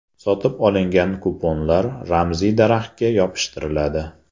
Sotib olingan kuponlar ramziy daraxtga yopishtiriladi.